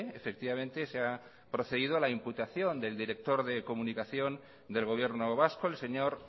efectivamente se ha procedido a la imputación del director de comunicación del gobierno vasco el señor